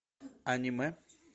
аниме